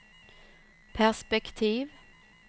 perspektiv